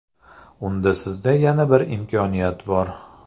Unda sizda yana bir imkoniyat bor!.